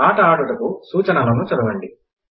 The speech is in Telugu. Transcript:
ఆట ఆడుటకు సూచనలను చదవండి